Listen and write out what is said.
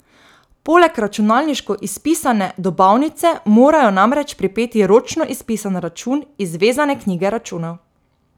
Poleg računalniško izpisane dobavnice morajo namreč pripeti ročno izpisan račun iz vezane knjige računov.